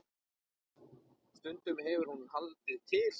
Stundum hefur hún haldið til